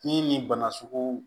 Ni nin bana sugu